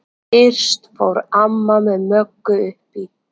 Fyrst fór amma með Möggu upp í